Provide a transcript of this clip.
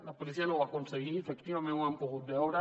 la policia no ho va aconseguir efectivament ho han pogut veure